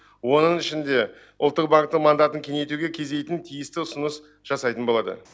оның ішінде ұлттық банктің мандатын кеңейтуге кездейтін тиісті ұсыныс жасайтын болады